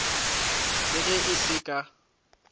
le ge ke se ka